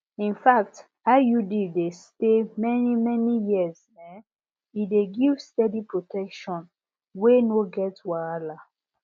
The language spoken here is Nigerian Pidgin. infact iud dey stay manymany years um e dey give steady protection wey no get wahala